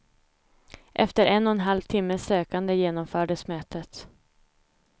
Efter en och en halv timmes sökande genomfördes mötet.